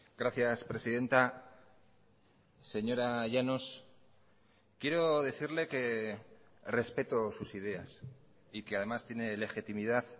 gracias presidenta señora llanos quiero decirle que respeto sus ideas y que además tiene legitimidad